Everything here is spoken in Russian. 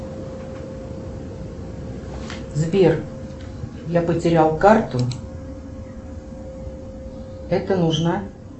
сбер я потерял карту это нужно